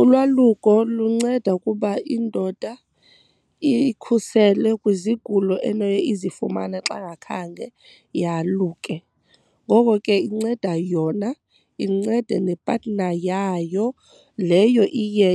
Ulwaluko lunceda ukuba indoda iyikhusele kwizigulo enoye izifumane xa ngakhange yaluke. Ngoko ke inceda yona incede ne-partner yayo leyo iye